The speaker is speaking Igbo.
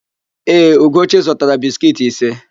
Ee, Ugochi zụtara biskiiti ise.